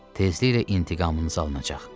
Tezliklə intiqamınız alınacaq.